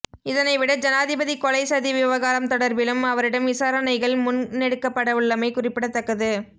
இதனைவிட ஜனாதிபதி கொலை சதி விவகாரம் தொடர்பிலும் அவரிடம் விசாரணைகள் முன்னெடுக்கப்படவுள்ளமை குறிப்பிடத்தக்கது